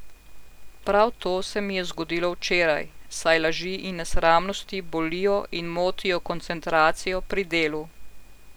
Prav to se mi je zgodilo včeraj, saj laži in nesramnosti bolijo in motijo koncentracijo pri delu.